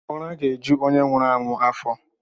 Ụra ga-eju onye nwụrụ anwụ afọ.